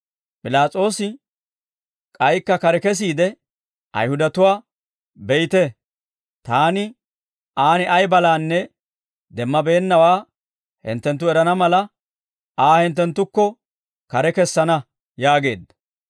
P'ilaas'oosi k'aykka kare kesiide Ayihudatuwaa, «Be'ite, taani aan ay balaanne demmabeennawaa hinttenttu erana mala, Aa hinttenttukko kare kessana» yaageedda.